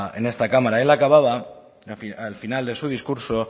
en esta cámara él acababa al final de su discurso